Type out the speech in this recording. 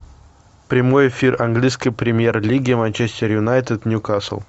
прямой эфир английской премьер лиги манчестер юнайтед ньюкасл